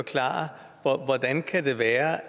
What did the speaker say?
det er